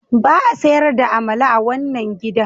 Ba a sayar da amala a wannan gidan.